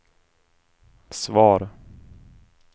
svar